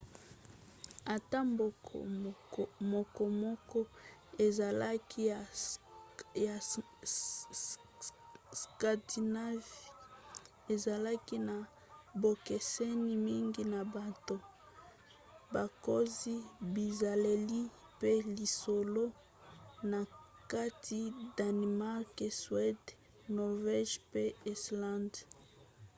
ata mboka mokomoko ezalaki ya 'scandinavie' ezalaki na bokeseni mingi na bato bakonzi bizaleli pe lisolo na kati danemark suède norvège pe islande